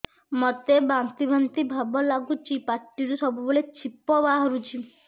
ମୋତେ ବାନ୍ତି ବାନ୍ତି ଭାବ ଲାଗୁଚି ପାଟିରୁ ସବୁ ବେଳେ ଛିପ ବାହାରୁଛି